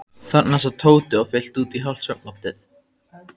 Þarna sat Tóti og fyllti út í hálft svefnloftið.